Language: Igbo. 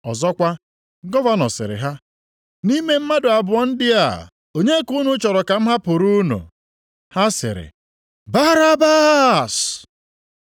Ọzọkwa, gọvanọ sịrị ha, “Nʼime mmadụ abụọ ndị a onye ka unu chọrọ ka m hapụrụ unu?” Ha sịrị, “Barabas!”